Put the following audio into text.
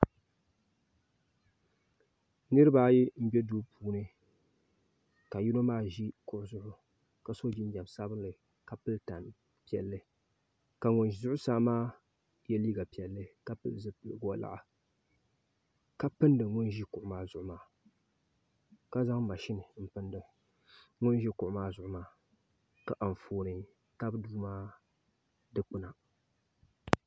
Niraba ayi n bɛ duu puuni ka yino maa ʒi kuɣu zuɣu ka so jinjɛm sabinli ka yɛ goɣa piɛlli ka ŋun ʒɛ zuɣusaa maa yɛ liiga piɛlli ka pili zipiligu woliɣa ka pindi ŋun ʒi kuɣu maa zuɣu maa ka zaŋ mashin n pindi ŋun ʒi kuɣu maa zuɣu maa ka Anfooni tabi duu maa dikpuni